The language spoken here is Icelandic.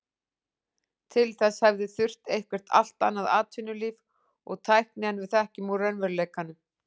Til þess hefði þurft eitthvert allt annað atvinnulíf og tækni en við þekkjum úr raunveruleikanum.